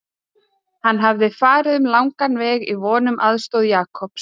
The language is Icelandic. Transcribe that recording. Hann hafði farið um langan veg í von um aðstoð Jakobs.